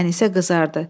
Ənisə qızardı.